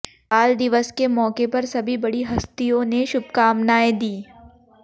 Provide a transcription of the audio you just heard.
बाल दिवस के मौके पर सभी बड़ी हस्तियों ने शुभकामनाएं दी